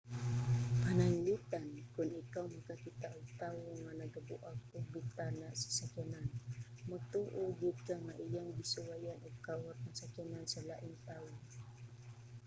pananglitan kon ikaw makakita og tawo nga nagabuak og bintana sa sakyanan magtuo gyud ka nga iyang gisuwayan og kawat ang sakyanan sa laing tawo